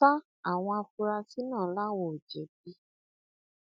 sa àwọn afurasí náà làwọn ò jẹbi